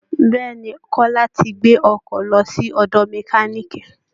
bẹ́ẹ̀ ni, Kọ́lá ti gbé ọkọ̀ lọ sí ọ̀dọ̀ mẹkáníìkì